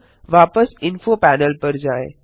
अब वापस info panel पर जाएँ